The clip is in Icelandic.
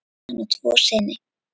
Hann á tvo syni.